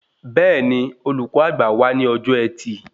Bẹẹni, olùkọ àgbà wá ní ọjọ ẹtì